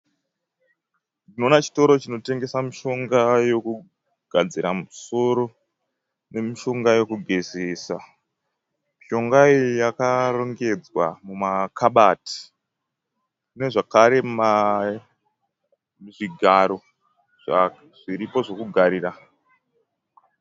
Tinoona chitoro chinotengesa mushonga yokugadzira musoro nemishonga yokugezesa. Mishonga iyi yakarongedzwa mumakabati. Pane zvekare zvigaro zviripo zvokugarira.